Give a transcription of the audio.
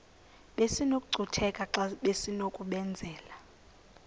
besinokucutheka xa besinokubenzela